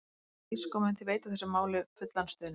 Hún er þýsk og mun því veita þessu máli fullan stuðning.